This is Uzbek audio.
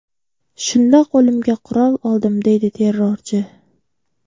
Shunda qo‘limga qurol oldim”, deydi terrorchi.